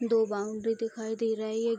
दो बाउंड्री दिखाई दे रही है।